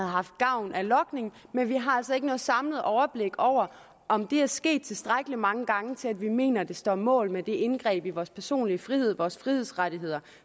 haft gavn af logning men vi har altså ikke noget samlet overblik over om det er sket tilstrækkelig mange gange til at vi mener at det står mål med det indgreb i vores personlig frihed i vores frihedsrettigheder